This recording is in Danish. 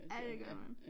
Ja det gør man